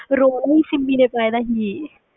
ਸਿਮੀ ਦੇ ਪਾਇਆ ਸੀ